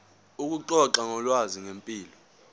ukuxoxa ngolwazi ngempilo